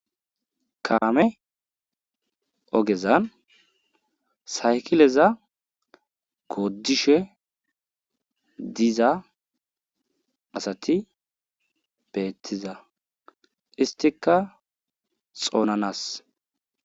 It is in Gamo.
Kaame ogeza saykileza gooddishe diza asati beetiza isttikka xoonanassa.